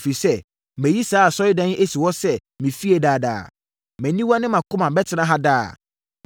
ɛfiri sɛ, mayi saa Asɔredan yi asi hɔ sɛ me fie daa daa. Mʼaniwa ne mʼakoma bɛtena ha daa.